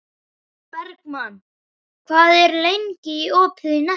Bergmann, hvað er lengi opið í Nettó?